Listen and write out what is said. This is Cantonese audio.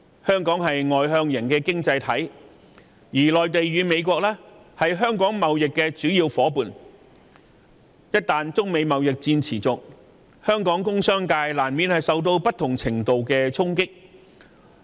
香港是外向型經濟體系，內地和美國又是香港的主要貿易夥伴，中美貿易戰一旦持續，香港工商界難免受到不同程度的衝擊。